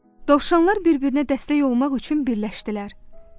Dovşanlar bir-birinə dəstək olmaq üçün birləşdilər.